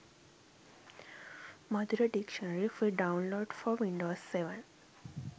madura dictionary free download for windows 7